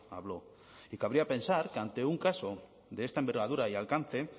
habló y cabría pensar que ante un caso de esta envergadura y alcance